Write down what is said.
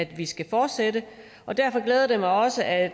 vi skal fortsætte derfor glæder det mig også at